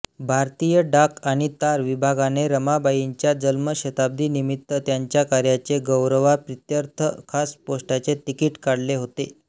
भारतीय डाक आणि तार विभागाने रमाबाईंच्या जन्मशताब्दीनिमित्त त्यांच्या कार्याच्या गौरवाप्रीत्ययर्थ खास पोस्टाचे तिकीट काढले होते